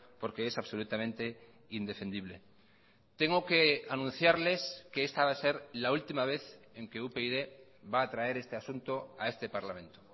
porque es absolutamente indefendible tengo que anunciarles que esta va a ser la última vez en que upyd va a traer este asunto a este parlamento